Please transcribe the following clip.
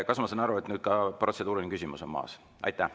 Kas ma saan aru, et protseduuriline küsimus on maas?